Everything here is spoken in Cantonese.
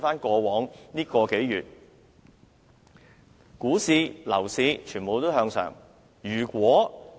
過往數月，股市和樓市全面向上。